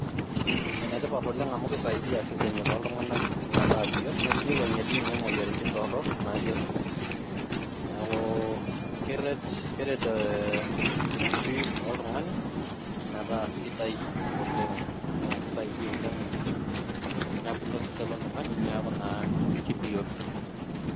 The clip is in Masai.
Ene tipat oleng amu kisaidia isesen loo ntunganak metaa biot ,niwuangie dii ninye moyiaritin torok natii osesen. niaku ee kere keret enkishui oltungani metaa sidai oleng .kisaidia oleng nebulu osesen loltungani niaku naa kibioto .